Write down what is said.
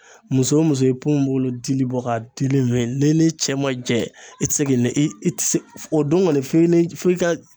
Muso o muso i ye ponponpogolon dili bɔ ka dili min n'i ni cɛ ma jɛ i tɛ se k'i i tɛ se o don kɔni f'i ni f'i ka